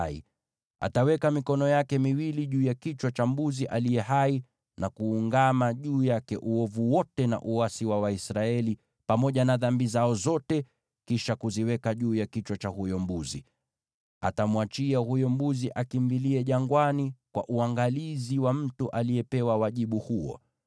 Aroni ataweka mikono yake miwili juu ya kichwa cha mbuzi aliye hai na kuungama juu yake uovu wote na uasi wa Waisraeli, yaani dhambi zao zote, ili kuziweka juu ya kichwa cha huyo mbuzi. Atamwachia huyo mbuzi akimbilie jangwani kwa uangalizi wa mtu aliyepewa wajibu huo.